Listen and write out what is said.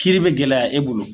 Kiiri be gɛlɛya e bolo